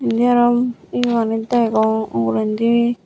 indi arom iyenit degong ugrendi.